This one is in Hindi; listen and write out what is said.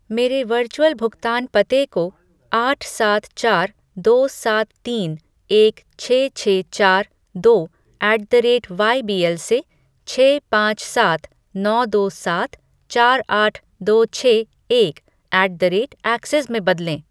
मेरे वर्चुअल भुगतान पते को आठ सात चार दो सात तीन एक छः छः चार दो ऐट द रेट वाईबीएल से छः पाँच सात नौ दो सात चार आठ दो छः एक ऐट द रेट ऐक्सिस में बदलें